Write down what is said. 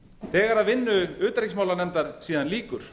þegar vinnu utanríkismálanefndar síðan lýkur